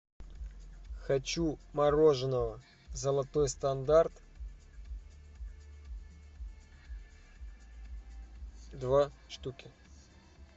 хочу мороженого золотой стандарт два штуки